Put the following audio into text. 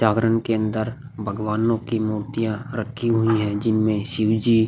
जागरण के अंदर भगवानों की मूर्तियाँ रखी हुई है जिनमें शिवाजी --